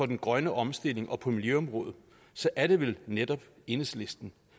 den grønne omstilling og på miljøområdet så er det vel netop enhedslisten